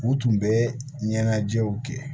U tun bɛ ɲɛnajɛw kɛ